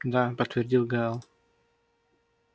да подтвердил гаал